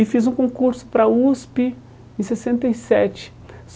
E fiz um concurso para a USP em sessenta e sete.